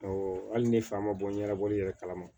hali ni fa ma bɔ ɲɛnabɔli yɛrɛ kalama